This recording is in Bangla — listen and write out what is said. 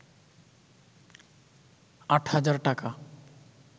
৮ হাজার টাকা